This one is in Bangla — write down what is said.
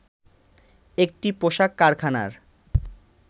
একটি পোশাক কারখানার